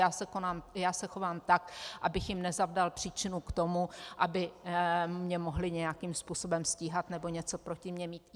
Já se chovám tak, abych jim nezavdal příčinu k tomu, aby mě mohly nějakým způsobem stíhat nebo něco proti mě mít.